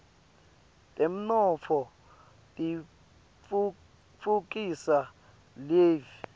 temnotfo titfutfukisa live